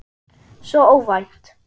Svo óvænt.